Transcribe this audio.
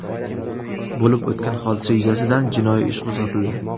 Bo‘lib o‘tgan hodisa yuzasidan jinoiy ish qo‘zg‘atildi.